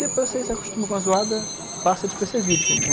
Depois você se acostuma com a zoada e passa despercebido quando quando